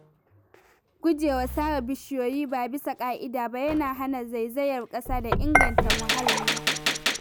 Guje wa sare bishiyoyi ba bisa ƙa’ida ba yana hana zaizayar ƙasa da inganta muhalli.